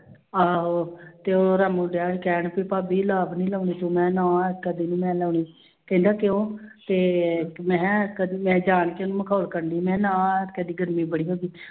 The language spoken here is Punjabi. ਆਹੋ ਤੇ ਉਹਦਾ ਮੁੰਡਾ ਕਹਿਣ ਵੀ ਭਾਬੀ ਨੀ ਲਾਉਂਣੀ ਤੂੰ ਮੈਂ ਨਾ ਕਦੇ ਨੀ ਮੈਂ ਲਾਉਂਣੀ, ਕਹਿੰਦਾ ਕਿਉਂ ਤੇ ਮੈਂ ਕਿਹਾ ਕਦੇ ਮੈਂ ਜਾਣ ਕੇ ਉਹਨੂੰ ਮਖੋਲ ਕਰਦੀ, ਮੈਂ ਕਿਹਾ ਨਾ ਕਹਿੰਦੇ ਗਰਮੀ ਬੜੀ ਹੁੰਦੀ